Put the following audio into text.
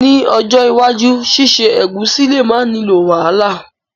Ni ojó iwájú síse ẹ̀gúsí le ma nilo wàhálà